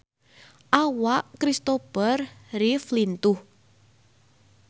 Awak Kristopher Reeve lintuh